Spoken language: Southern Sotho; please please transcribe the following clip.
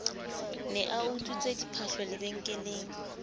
ne a utswitse diphahlo lebenkeleng